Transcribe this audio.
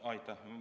Aitäh!